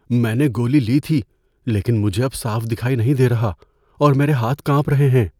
میں نے گولی لی تھی لیکن مجھے اب صاف دکھائی نہیں دے رہا اور میرے ہاتھ کانپ رہے ہیں۔